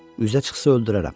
Üzə çıxsa öldürərəm.